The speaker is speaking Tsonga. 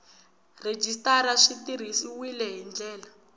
rhejisitara swi tirhisiwile hi ndlela